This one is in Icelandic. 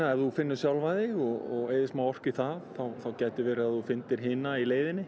ef þú finnur sjálfan þig og eyðir orku í það gætirðu fundið hina í leiðinni